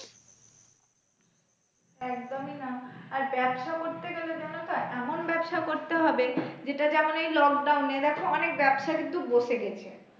একদমই না আর ব্যবসা করতে গেলে জানো তো এমন ব্যবসা করতে হবে যেটাতে যেমন এই lockdown এ দেখো অনেক ব্যবসা কিন্তু বসে গেছে।